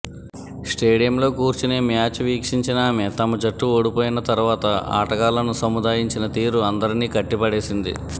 స్టేడియంలో కూర్చొని మ్యాచ్ వీక్షించిన ఆమె తమ జట్టు ఓడిపోయిన తర్వాత ఆటగాళ్లను సముదాయించిన తీరు అందరినీ కట్టిపడేసింది